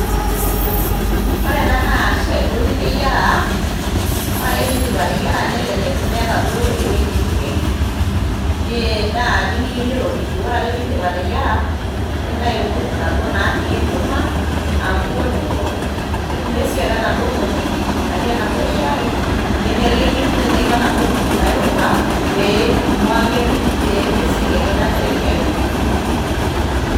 Ore ena naa shai duo niteyiara, ore piindip ateyiara nelelek meeta ewueji nipik naa nimiyeu niropiju. Ore ake piindip ateyiara nintayu nkuk naduo natii enkima aa nkuk oljiko, nidumu esiote enaduo moti natii enaduo shaai ninteleki, ninteleki naduo kuk nairowua pee ing'ua ake pee mesioki ake ena shai airopiju.